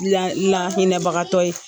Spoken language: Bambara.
La, lahinɛbagatɔ ye.